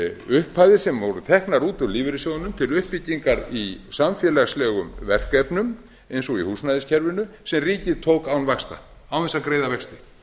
upphæðir sem voru teknar út úr lífeyrissjóðnum til uppbyggingar í samfélagslegum verkefnum eins og í húsnæðiskerfinu sem ríkið tók án þess að greiða vexti